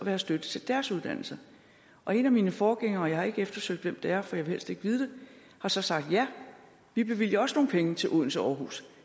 have støtte til deres uddannelse og en af mine forgængere og jeg har ikke eftersøgt hvem det er for jeg vil helst ikke vide det har så sagt ja vi bevilger også nogle penge til odense og aarhus